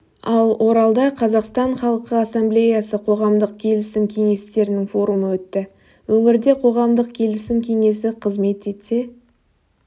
ал оралда қазақстан халқы ассамблеясы қоғамдық келісім кеңестерінің форумы өтті өңірде қоғамдық келісім кеңесі қызмет етсе